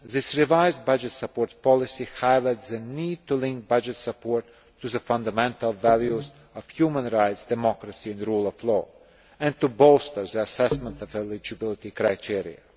This revised budget support policy highlights the need to link budget support to the fundamental values of human rights, democracy and the rule of law, and to bolster the assessment of eligibility criteria.